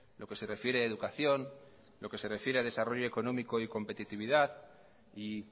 lo que se refiere a educación lo que se refiere a desarrollo económico y competitividad y